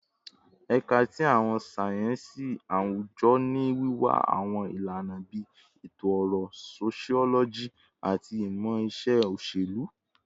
Ẹka ti Awọn sáyẹnsì Awujọ ni wiwa awọn ilana bii Eto-ọrọ, Sociology, ati Imọ-iṣe Oṣelu